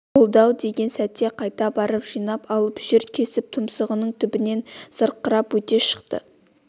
болды-ау деген сәтте қайта барып жинап алып жүр кесіп тұмсығының түбінен зырқырап өте шықты